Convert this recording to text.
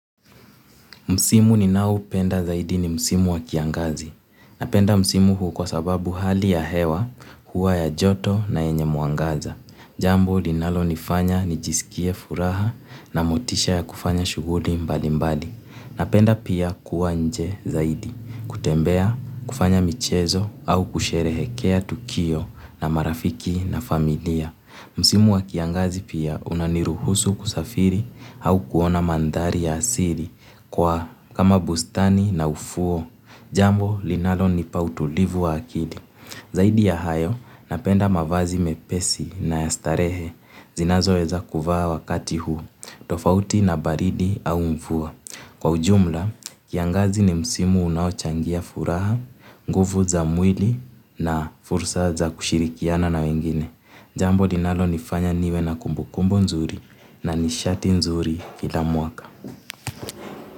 Msimu ninaopenda zaidi ni msimu wa kiangazi. Napenda msimu huu kwa sababu hali ya hewa, hua ya joto na yenye mwangaza. Jambo linalo nifanya ni jisikie furaha na motisha ya kufanya shughuli mbali mbali. Napenda pia kuwa nje zaidi, kutembea, kufanya michezo au kusherehekea tukio na marafiki na familia. Msimu wa kiangazi pia unaniruhusu kusafiri au kuona mandhari ya asili kwa kama bustani na ufuo. Jambo linalo nipa utulivu wa akili. Zaidi ya hayo napenda mavazi mepesi na ya starehe zinazo weza kuvaa wakati huu. Tofauti na baridi au mvua. Kwa ujumla, kiangazi ni msimu unao changia furaha, nguvu za mwili na fursa za kushirikiana na wengine. Jambo linalo nifanya niwe na kumbukumbu nzuri na nishati nzuri kila mwaka.